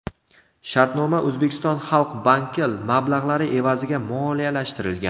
Shartnoma O‘zbekiston Xalq Banki mablag‘lari evaziga moliyalashtirilgan.